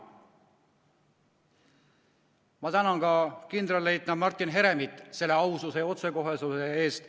Ma tänan ka kindralleitnant Martin Heremit aususe ja otsekohesuse eest.